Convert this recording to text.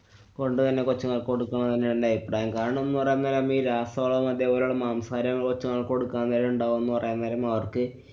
കൊണ്ടുതന്നെ കൊച്ചുങ്ങള്‍ക്ക്‌ കൊടുക്കുന്നതു തന്നെയാണ് അഭിപ്രായം. കാരണംന്നു പറയാന്‍ നേരം ഇപ്പൊ ഈ രാസവളവും അതേപോലുള്ള മാംസാഹാരവും കൊച്ചുങ്ങള്‍ക്ക്‌ കൊടുക്കാന്‍ നേരം ണ്ടാവും പറയാന്‍ നേരം അവര്‍ക്ക്